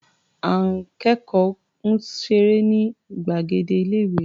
Àọn akẹ́kọ̀ọ́ ń ṣeré ní gbàgede ilé-ìé.